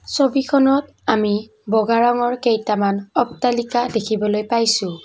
ছবিখনত আমি বগা ৰঙৰ কেইটামান অট্টালিকা দেখিবলৈ পাইছোঁ।